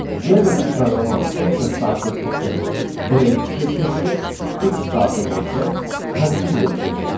Yəni biz proqrama x daxil etsək, break işə düşəcək, x daxil etsək, continue işə düşəcək.